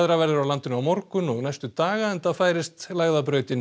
verður á landinu á morgun sem og næstu daga enda færist